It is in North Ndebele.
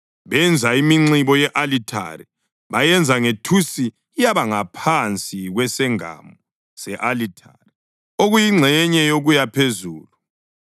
Benza iminxibo ye-alithare, bayenza ngethusi yaba ngaphansi kwesengamo se-alithare okuyingxenye yokuya phezulu.